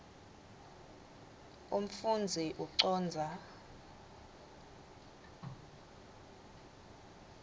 umfundzi ucondza